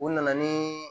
U nana ni